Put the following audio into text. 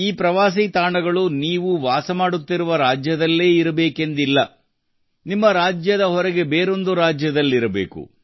ಈ ಪ್ರವಾಸಿ ತಾಣಗಳು ನೀವು ವಾಸ ಮಾಡುತ್ತಿರುವ ರಾಜ್ಯದಲ್ಲೇ ಇರಬೇಕೆಂದಿಲ್ಲ ನಿಮ್ಮ ರಾಜ್ಯದ ಹೊರಗೆ ಇರುವ ಬೇರೊಂದು ರಾಜ್ಯದಲ್ಲಿರಬೇಕು